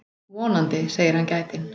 Vonandi, segir hann gætinn.